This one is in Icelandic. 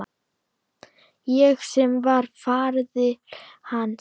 Ég sem var faðir hans.